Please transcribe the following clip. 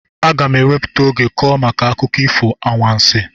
Aga m ewepụta oge kwuo maka akụkọ ifo anwansị